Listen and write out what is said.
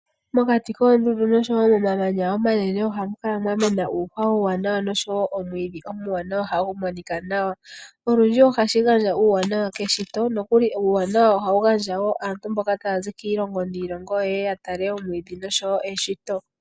Mokati koondundu noshowo komamanya omanene ohamu kala mwa mena uuhwa uuwanawa noshowo omwiidhi omwaanawa hagu monika nawa. Olundji ohashi gandja uuwanawa keshito nokuli uuwanawa ohawu gandja wo aantu mboka taya zi kiilongo niilongo yeye ya tale eshito.